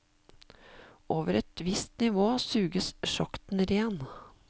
Over et visst nivå suges sjakten ren.